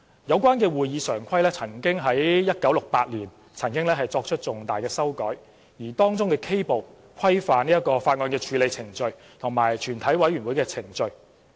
有關《會議常規》於1968年曾作出重大的修改，而當中的 K 部規範法案的處理程序及全委會的程序。